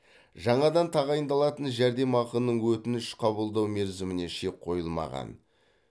жаңадан тағайындалатын жәрдемақының өтініш қабылдау мерзіміне шек қойылмаған